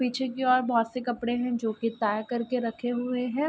पीछे की ओर बहुत से कपड़े हैं जो की तह करके रखे है।